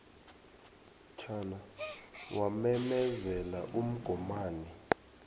chan wamemezela umgomani